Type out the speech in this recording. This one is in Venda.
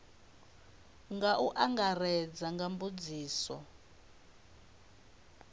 nga u angaredza nga mbudziso